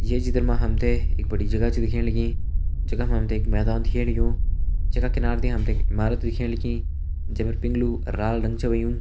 ये चित्र म हम तें एक बड़ी जगह छ दिखेण लगीं जखम हम तें एक मैदान दिखेण लग्युं जे का किनारा दी हम तें एक इमारत दिखेण लगीं जे फर पिंग्लू अर लाल रंग छ हुयुं।